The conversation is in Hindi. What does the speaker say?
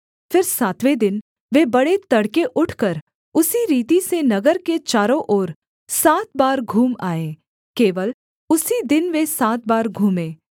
फिर सातवें दिन वे बड़े तड़के उठकर उसी रीति से नगर के चारों ओर सात बार घूम आए केवल उसी दिन वे सात बार घूमे